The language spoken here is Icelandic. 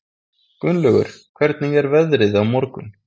Gunnlaugur, hvernig er veðrið á morgun?